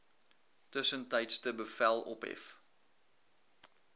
tussentydse bevel ophef